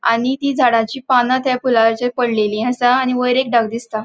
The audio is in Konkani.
आणि ती झाडाची पाना त्या फुलाचेर पडलेली असा आणि वयर एक ढग दिसता.